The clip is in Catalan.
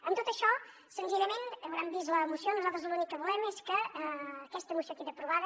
amb tot això senzillament deuen haver vist la moció nosaltres l’únic que volem és que aquesta moció quedi aprovada